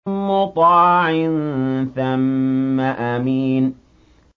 مُّطَاعٍ ثَمَّ أَمِينٍ